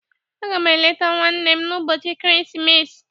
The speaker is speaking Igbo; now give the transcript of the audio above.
Agam eleta nwannem n'ubochi ekeresimesi.